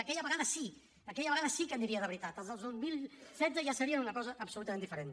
aquella vegada sí aquella vegada sí que aniria de veritat els del dos mil setze ja serien una cosa absolutament diferent